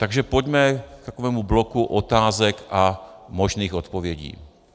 Takže pojďme k takovému bloku otázek a možných odpovědí.